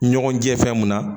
Ɲɔgɔn jɛ fɛn mun na